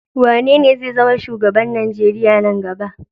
Wanene zai zama shugaban Najeriya na gaba?